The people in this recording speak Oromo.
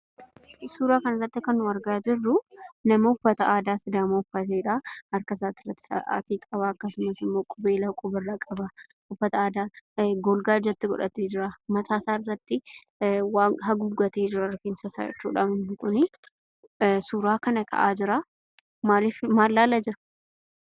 Suuraa kana irratti kan nu argaa jirruu, nama uffata aadaa sidaamaa uffatedha , harka isaa irraattis Saatii qaba akkasumas immoo qubeellaa quba irraa qaba uffata aadaa golga ijatti godhatee jira. Mataa isaa irratti waan haguuggatee jira (rifeensa isaa jechuudha) hundi isaa inni kunii suuraa kana ka'aa jiraa, maal ilaalaa jira?